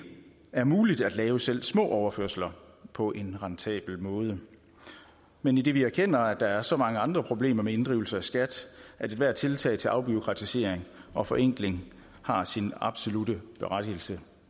er muligt at lave selv små overførsler på en rentabel måde men idet vi erkender at der er så mange andre problemer med inddrivelse af skat at ethvert tiltag til afbureaukratisering og forenkling har sin absolutte berettigelse